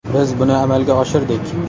Biz buni amalga oshirdik.